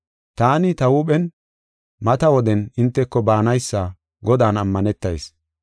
Taani, ta huuphen mata woden hinteko baanaysa Godan ammanetayis.